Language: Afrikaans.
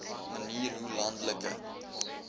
manier hoe landelike